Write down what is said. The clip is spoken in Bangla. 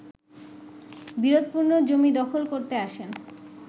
বিরোধপূর্ণ জমি দখল করতে আসেন